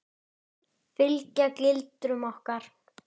Hversu eldfim?